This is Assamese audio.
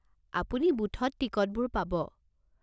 আপুনি বুথত টিকটবোৰ পাব।